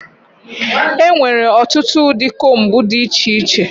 Enwere ọtụtụ ụdị combu dị iche iche.